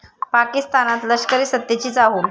पाकिस्तानात लष्करीसत्तेची चाहूल